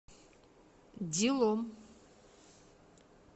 дилом